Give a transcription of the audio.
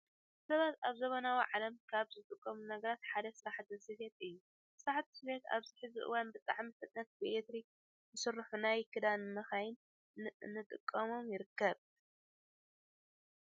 ሰባት ኣብ ዘበናዊ ዓለም ካብ ዝጥቀምሎም ነገራት ሓደ ስራሕቲ ስፌት እዩ። ስራሕቲ ስፌት ኣብዚ ሕዚ እዋን ብጣዕሚ ፈጣናት ብኤሌክትሪክ ዝሰርሑ ናይ ክዳን መካይን እናተጠቀመ ይርከብ።